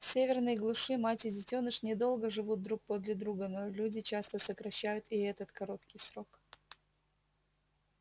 в северной глуши мать и детёныш недолго живут друг подле друга но люди часто сокращают и этот короткий срок